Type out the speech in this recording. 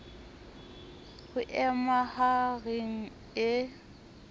ho e maha reng e